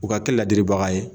U ka kɛ ladiribaga ye